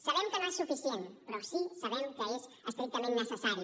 sabem que no és suficient però sí sabem que és estrictament necessari